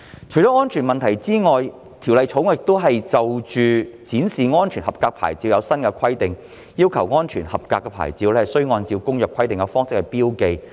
除了安全問題外，《條例草案》亦就展示安全合格牌照制訂新規定，要求安全合格牌照須按《公約》規定的方式標記。